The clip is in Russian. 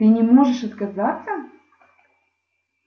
ты не можешь отказаться